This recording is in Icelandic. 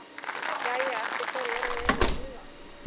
Jæja, eftir hverju erum við eiginlega að bíða?